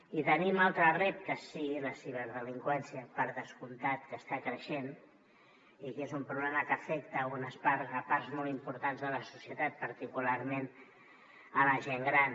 i tenim altres reptes sí la ciberdelinqüència per descomptat que està creixent i que és un problema que afecta parts molt importants de la societat particularment la gent gran